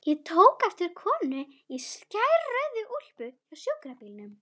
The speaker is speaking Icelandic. Ég tók eftir konu í skærrauðri kápu hjá sjúkrabílnum.